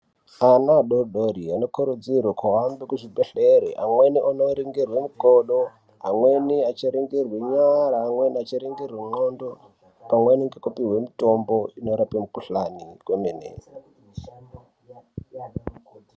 Ana adodori anokurudzirwa kuende kuchibhedhleya amweni aindoningirwa makodo amweni achiningirwawo ndxondo pamwe nekudirwa mikuhlani inorape kwemene.